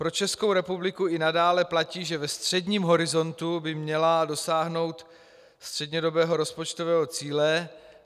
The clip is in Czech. Pro Českou republiku i nadále platí, že ve středním horizontu by měla dosáhnout střednědobého rozpočtového cíle.